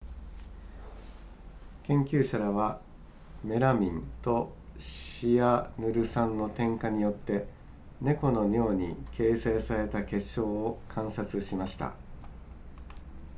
研究者らはメラミンとシアヌル酸の添加によって猫の尿に形成された結晶を観察しました